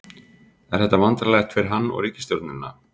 Er þetta vandræðalegt fyrir hann og ríkisstjórnina?